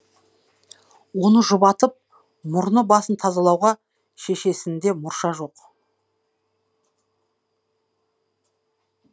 оны жұбатып мұрны басын тазалауға шешесінде мұрша жоқ